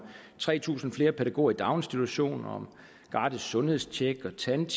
tre tusind flere pædagoger i daginstitutionerne gratis sundhedstjek og tandjek